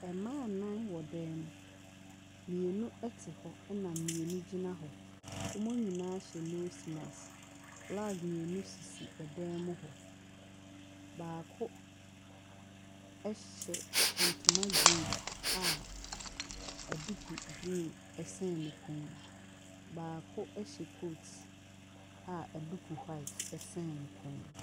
Mma anan ɛwɔ dan mu, mmeinu ɛte hɔ na mmeinu nso gyina hɔ. Wɔ mu nyinaa ahyɛ nos maks. Flag mmeinu esisi adan mu hɔ. Baako ɛhyehyɛ ntoma green a ɛduku green ɛsen ne kɔn mu na baako so hyɛ kot a ɛduku wuait ɛsen ne kɔn mu.